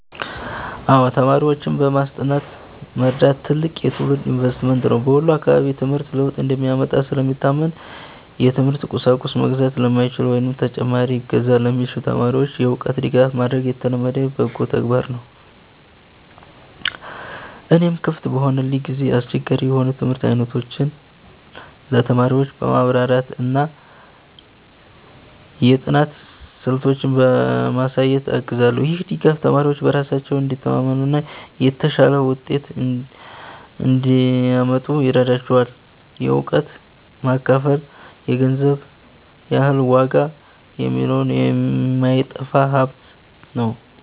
አዎ፣ ተማሪዎችን በማስጠናት መርዳት ትልቅ የትውልድ ኢንቨስትመንት ነው። በወሎ አካባቢ ትምህርት ለውጥ እንደሚያመጣ ስለሚታመን፣ የትምህርት ቁሳቁስ መግዛት ለማይችሉ ወይም ተጨማሪ እገዛ ለሚሹ ተማሪዎች የእውቀት ድጋፍ ማድረግ የተለመደ በጎ ተግባር ነው። እኔም ክፍት በሆነልኝ ጊዜ አስቸጋሪ የሆኑ የትምህርት አይነቶችን ለተማሪዎች በማብራራትና የጥናት ስልቶችን በማሳየት አግዛለሁ። ይህ ድጋፍ ተማሪዎች በራሳቸው እንዲተማመኑና የተሻለ ውጤት እንዲያመጡ ይረዳቸዋል። እውቀትን ማካፈል የገንዘብ ያህል ዋጋ ያለውና የማይጠፋ ሀብት ነው።